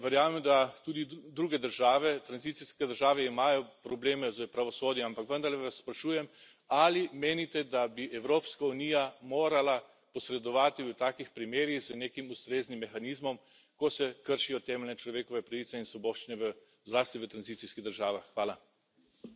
Jaz verjamem, da tudi druge države, tranzicijske države, imajo probleme s pravosodjem, ampak vendarle vas sprašujem, ali menite, da bi Evropska unija morala posredovati v takih primerih z nekim ustreznim mehanizmom, ko se kršijo temeljne človekove pravice in svoboščine zlasti v tranzicijskih državah.